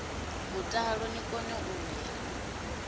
mutala ni kone u ya